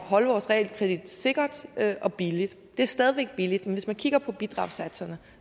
holde vores realkredit sikker og billig det er stadig væk billigt men hvis man kigger på bidragssatserne